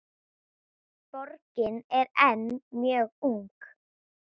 Borgin er enn mjög ung.